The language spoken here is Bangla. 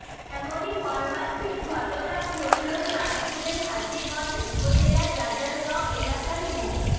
এমনই মর্মান্তিক ঘটনা ঘটল চাঁদপুরের হাজীগঞ্জ উপজেলার রাজারগাঁও এলাকার মো